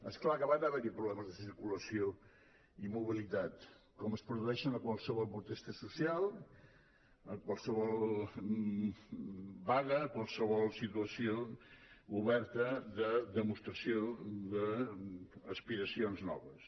és clar que van haver·hi problemes de circulació i mobilitat com es produeixen a qualse·vol protesta social a qualsevol vaga a qualsevol situació oberta de demostració d’as·piracions noves